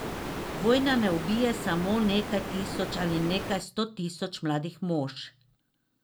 Vojna ne ubije samo nekaj tisoč ali nekaj sto tisoč mladih mož.